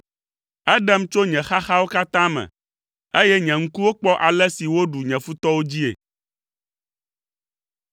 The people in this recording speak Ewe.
Eɖem tso nye xaxawo katã me, eye nye ŋkuwo kpɔ ale si woɖu nye futɔwo dzii.